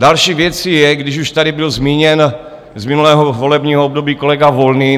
Další věcí je, když už tady byl zmíněn z minulého volebního období kolega Volný.